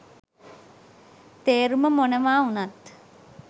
තේරුම මොනවා උනත්